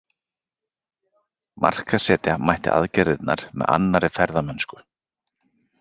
Markaðssetja mætti aðgerðirnar með annarri ferðamennsku.